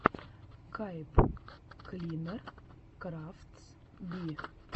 пайп клинер крафтс би